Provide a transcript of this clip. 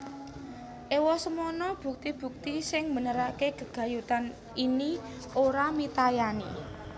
Ewosemono bukti bukti sing mbenerake gegayutan ini ora mitayani